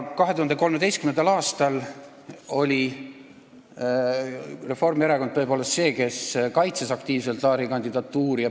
2013. aastal oli Reformierakond tõepoolest see, kes kaitses aktiivselt Laari kandidatuuri.